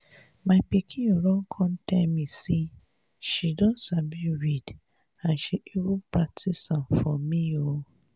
my pikin run come tell me say she don sabi read and she even practice am for me um